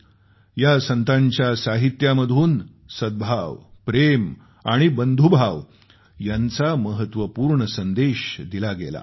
या संतांच्या साहित्यामधून सद्भावना प्रेम आणि बंधुभाव यांचा महत्वपूर्ण संदेश दिला गेला आहे